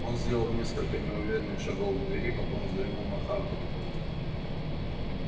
он сделал несколько неуверенных шагов к двери потом взглянул на хардина